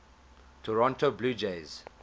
toronto blue jays